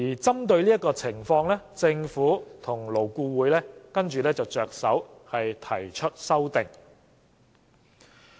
針對這情況，政府及勞工顧問委員會遂提出修訂。